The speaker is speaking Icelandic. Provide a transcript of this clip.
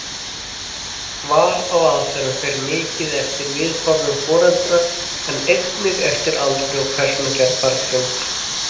Val á aðferð fer mikið eftir viðhorfum foreldra en einnig eftir aldri og persónugerð barnsins.